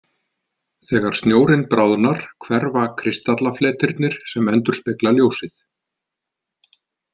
Þegar snjórinn bráðnar hverfa kristallafletirnir sem endurspegla ljósið.